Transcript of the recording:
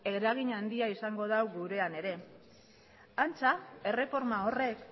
eragin handia izango du gurean ere antza erreforma horrek